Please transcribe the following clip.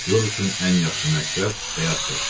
Aktyor üçün ən yaxşı məktəb həyatdır.